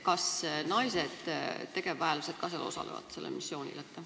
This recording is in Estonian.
Kas naistegevväelased ka osalevad sellel missioonil?